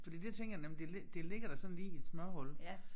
Fordi det tænker jeg nem det li det ligger da sådan lige i et smørhul